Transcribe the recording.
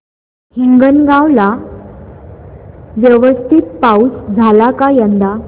हिंगणगाव ला व्यवस्थित पाऊस झाला का यंदा